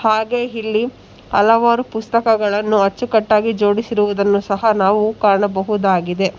ಹಾಗೇ ಇಲ್ಲಿ ಹಲವಾರು ಪುಸ್ತಕಗಳನ್ನು ಅಚ್ಚುಕಟ್ಟಾಗಿ ಜೋಡಿಸಿರುವುದ್ದನ್ನು ನಾವು ಕಾಣಬಹುದಾಗಿದೆ.